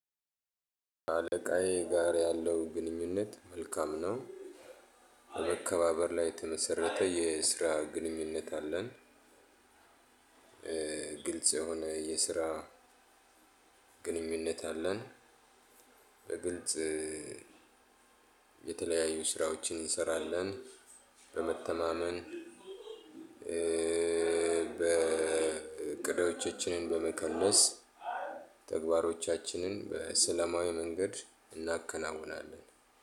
አለቃዬ ጋር ያለው ግንኙነት መልካም ነው በመከባበር ላይ የተመሰረተ የስራ ግንኙነት አለን። ግልጽ የሆነ የስራ ግንኙነት አለን። በግልጽ የተለያዩ ስራዎችን እንሰራለን። በመተማመን በእቅዶቻችንን በመከለስ ተግባሮቻችንን በሰለማዊ መንገድ እናከናውናለን።